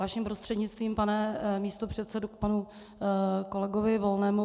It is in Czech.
Vaším prostřednictvím, pane místopředsedo, k panu kolegovi Volnému.